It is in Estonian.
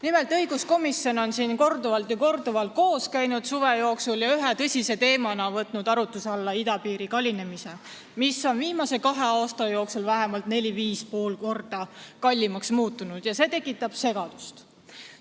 Nimelt, õiguskomisjon on suve jooksul siin korduvalt koos käinud ja ühe tõsise teemana võtnud arutuse alla idapiiri kallinemise, sest viimase kahe aasta jooksul on see vähemalt 4–5,5 korda kallimaks muutunud ja see tekitab segadust.